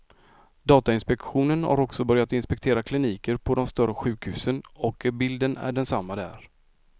Datainspektionen har också börjat inspektera kliniker på de större sjukhusen och bilden är densamma där.